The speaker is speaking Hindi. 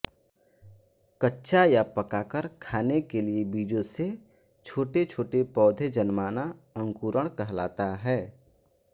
कच्चा या पकाकर खाने के लिये बीजों से छोटेछोटे पौधे जन्माना अंकुरण कहलाता है